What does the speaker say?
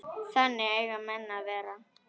Þannig eiga menn að vera.